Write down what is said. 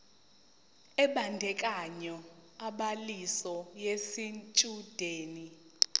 ebandakanya ubhaliso yesitshudeni